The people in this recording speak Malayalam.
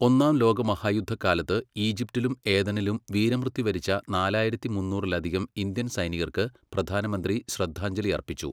ഒന്നാം ലോകമഹായുദ്ധകാലത്ത് ഈജിപ്തിലും ഏദനിലും വീരമൃത്യു വരിച്ച നാലായിരത്തി മുന്നൂറിലധികം ഇന്ത്യൻ സൈനികർക്ക് പ്രധാനമന്ത്രി ശ്രദ്ധാഞ്ജലിയർപ്പിച്ചു.